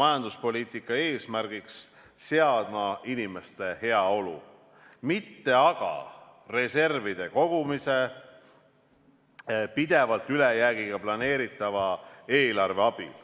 majanduspoliitika eesmärgiks seadma inimeste heaolu, mitte aga reservide kogumise pidevalt ülejäägiga planeeritava eelarve abil.